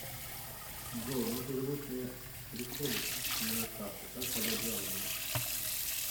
джой мой перевод не приходит мне на карту как подать жалобу